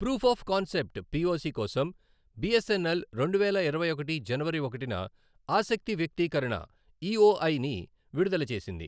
Proof of concept POC కోసం BSNL రెండువేల ఇరవై ఒకటి జనవరి ఒకటిన ఆసక్తి వ్యక్తీకరణ ఈఓఐ ని విడుదల చేసింది.